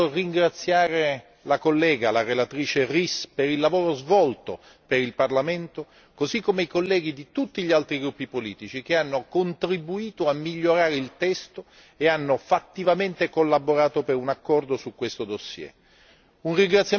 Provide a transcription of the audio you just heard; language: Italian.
Vorrei innanzitutto ringraziare la collega, la relatrice Ries, per il lavoro svolto per il Parlamento, così come i colleghi di tutti gli altri gruppi politici che hanno contribuito a migliorare il testo e hanno fattivamente collaborato per un accordo su questo dossier.